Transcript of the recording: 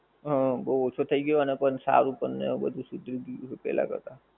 હ બહું ઓછું થઈ ગયું અને સારું પણ એવું બધું શુધરી ગયું પેહલા કરતા